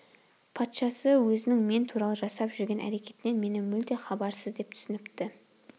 патшасы өзінің мен туралы жасап жүрген әрекетінен мені мүлде хабарсыз деп түсініпті